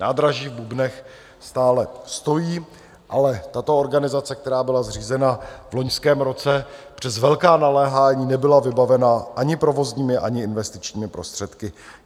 Nádraží v Bubnech stále stojí, ale tato organizace, která byla zřízena v loňském roce, přes velká naléhání nebyla vybavena ani provozními, ani investičními prostředky.